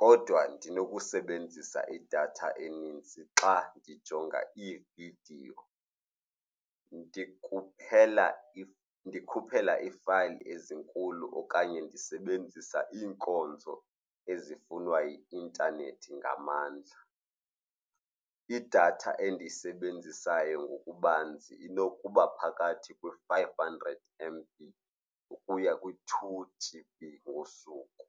kodwa ndinokusebenzisa idatha enintsi xa ndijonga iividiyo, ndikhuphela iifayili ezinkulu okanye ndisebenzisa iinkonzo ezifunwa yi-intanethi ngamandla. Idatha endiyisebenzisayo ngokubanzi inokuba phakathi kwe-five hundred M_B ukuya kwi-two G_B ngosuku.